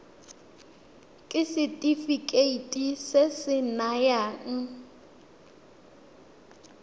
ke setefikeiti se se nayang